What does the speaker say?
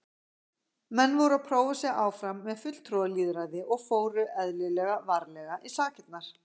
Menn voru að prófa sig áfram með fulltrúalýðræði og fóru, eðlilega, varlega í sakirnar.